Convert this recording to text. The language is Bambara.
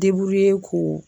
ko